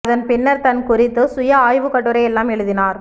அதன் பின்னர் தன் குறித்து சுய ஆய்வுக்கட்டுரை எல்லாம் எழுதினார்